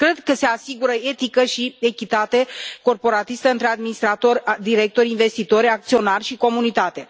Cred că se asigură etică și echitate corporatiste între administrator, directori, investitori, acționari și comunitate.